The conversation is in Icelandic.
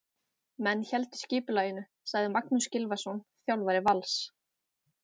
Menn héldu skipulaginu, sagði Magnús Gylfason, þjálfari Vals.